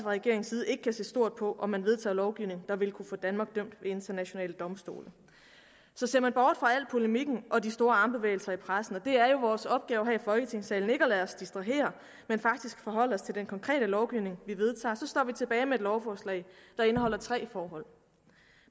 regeringens side ikke kan se stort på om man vedtager lovgivning der vil kunne få danmark dømt ved internationale domstole så ser man bort fra al polemikken og de store armbevægelser i pressen og det er jo vores opgave her i folketingssalen ikke at lade os distrahere men faktisk forholde os til den konkrete lovgivning vi vedtager står vi tilbage med et lovforslag der indeholder tre forhold